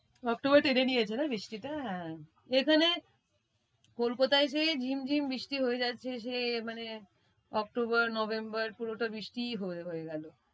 October টেনে নিয়েছে জানিস্ এখানে কোলকাতায় সেই ঝিমঝিম বৃষ্টি হয়ে যাচ্ছে সে মানে অক্টোবর, নভেম্বর পুরোটা বৃষ্টি হয়ে~হয়ে গেলো।